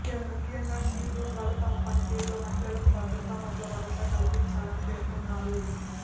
ముఖ్యంగా షీ బృందాలు తమ పనితీరుతో మహిళలకు భద్రత పట్ల భరోసా కల్పించాలని పేర్కొన్నారు